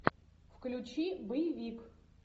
включи боевик